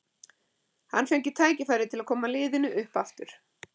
Hann fengi tækifæri til að koma liðinu upp aftur.